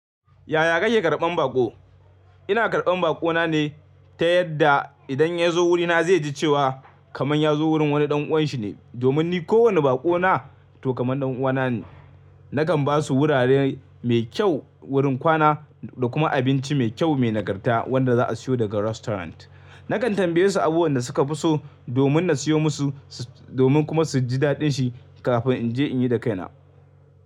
Yaya kake karɓan baƙo? Ina karɓan baƙo na ne ta yadda idan ya zo wurina zai ji cewa kaman ya zo wurin wani ɗan uwanshi ne. Domin ni kowane baƙo na to kaman ɗan uwana ne. Nakan basu wurare mai kyau wurin kwana da kuma abinci mai kyau mai nagarta wanda za'a siyo daga restaurant. Nakan tambaye su abubuwan da suka fi so domin na siyo musu, domin kuma su ji daɗin shi kafin in je in yi da kaina.